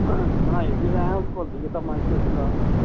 ਬਣਾਈ ਐਨ ਕੋਲੀ ਮਨ ਝੂਮਦਾ